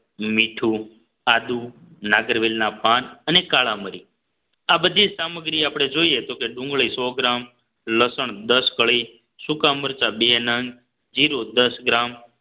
મીઠું આદુ નાગરવેલ ના પાન અને કાળા મરી આ બધી સામગ્રી આપણે જોઈએ તો કે ડુંગળી સો ગ્રામ લસણ દસ કળી સુકા મરચાં બે નંગ જીરું દસ ગ્રામ